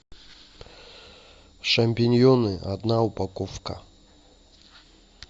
шампиньоны одна упаковка